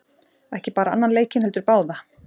Ekki bara annan leikinn heldur báða!